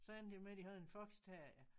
Så endte det jo med de havde en foxterrier